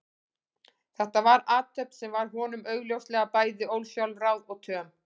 Þetta var athöfn sem var honum augljóslega bæði ósjálfráð og töm.